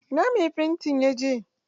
Ina mai fantin ya je?